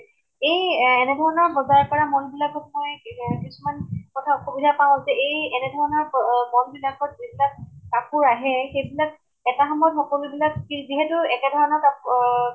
এই এনেধৰণে বজাৰ কৰা mall বিলাকত মই এহ কিছুমান কথাত অসুবিধা পাওঁ যে এই এনেধৰণৰ ম্অ mall বিলাকত যিবিলাক কাপোৰ আহে, এটা সময়ত সকলো বিলাক কি যিহেতু একেধৰণৰ কাপ অহ